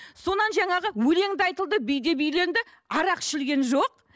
жаңағы өлең де айтылды би де биленді арақ ішілген жоқ